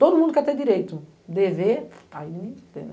Todo mundo quer ter direito, dever, aí ninguém tem, né?